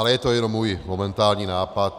Ale je to jenom můj momentální nápad.